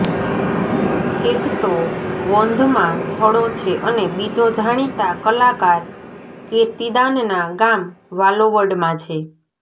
એક તો વોંધમાં થળો છે અને બીજો જાણીતા કલાકાર કિર્તીદાનના ગામ વાલોવડ માં છે